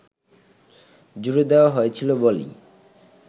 জুড়ে দেওয়া হয়েছিল বলেই